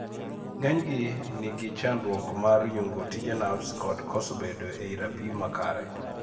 ng'enygi nigi chandruok mar yungo tije narves kod koso bedo ei rapim makare